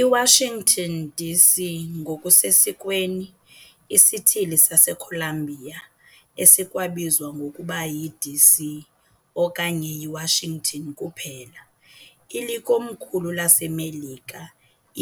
IWashington, DC, ngokusesikweni iSithili saseColumbia esikwabizwa ngokuba yiDC okanye yiWashington kuphela, ilikomkhulu laseMelika,